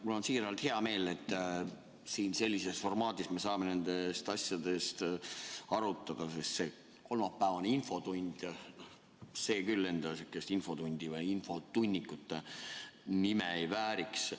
Mul on siiralt hea meel, et me siin sellises formaadis saame neid asju arutada, sest see kolmapäevane infotund küll infotunni või infotunniku nime ei vääriks.